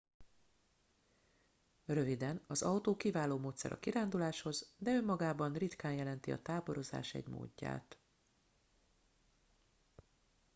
"röviden: az autó kiváló módszer a kiránduláshoz de önmagában ritkán jelenti a "táborozás" egy módját.